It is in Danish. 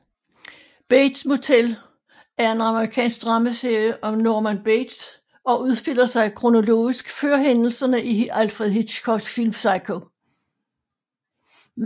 Bates Motel er en amerikansk dramaserie om Norman Bates og udspiller sig kronologisk før hændelserne i Alfred Hitchcocks film Psycho